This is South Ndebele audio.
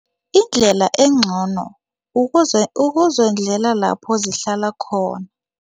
Indlela engcono ukuzondlela lapho zihlala khona.